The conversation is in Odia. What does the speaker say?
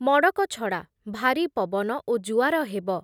ମଡ଼କ ଛଡ଼ା ଭାରୀ ପବନ ଓ ଜୁଆର ହେବ ।